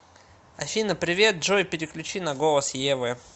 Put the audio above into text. афина привет джой переключи на голос евы